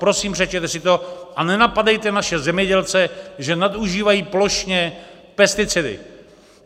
Prosím, přečtěte si to a nenapadejte naše zemědělce, že nadužívají plošně pesticidy.